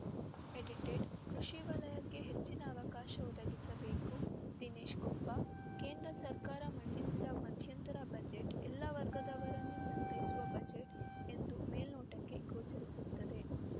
ಎಡಿಟೆಡ ಕೃಷಿ ವಲಯಕ್ಕೆ ಹೆಚ್ಚಿನ ಅವಕಾಶ ಒದಗಿಸಬೇಕು ದಿನೇಶ್‌ ಕೊಪ್ಪ ಕೇಂದ್ರ ಸರ್ಕಾರ ಮಂಡಿಸಿದ ಮಧ್ಯಂತರ ಬಜೆಟ್‌ ಎಲ್ಲ ವರ್ಗದವರನ್ನು ಸಂತೈಸುವ ಬಜೆಟ್‌ ಎಂದು ಮೇಲ್ನೋಟಕ್ಕೆ ಗೋಚರಿಸುತ್ತದೆ